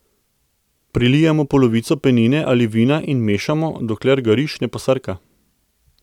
Prilijemo polovico penine ali vina in mešamo, dokler ga riž ne posrka.